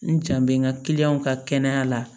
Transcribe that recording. N jan bɛ n ka ka kɛnɛya la